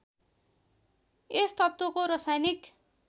यस तत्त्वको रसायनिक